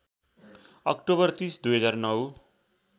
October ३० २००९